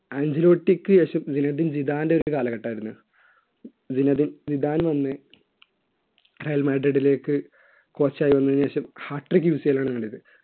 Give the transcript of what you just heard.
ആൻജിലോട്ടിക്ക് യശ്വിവിൻ ജിനവിൻ ജിതാന്റെ ഒരു കാലഘട്ടമായിരുന്നു ഇതിനതിൽ നിതാൻ വന്ന് റയൽ മാഡ്രിഡിലേക്ക് കോച്ച് ആയി വന്നതിനുശേഷം ഹാട്രിക് മിസൈൽ ആണ് കണ്ടത്